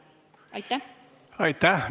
Aitäh!